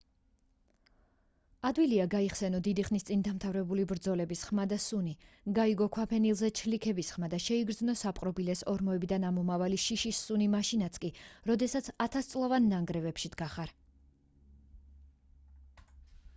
ადვილია გაიხსენო დიდი ხნის წინ დამთავრებული ბრძოლების ხმა და სუნი გაიგო ქვაფენილზე ჩლიქების ხმა და შეიგრძნო საპყრობილეს ორმოებიდან ამომავალი შიშის სუნი მაშინაც კი როდესაც ათასწლოვან ნანგრევებში დგახარ